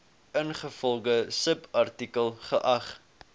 ingevolge subartikel geag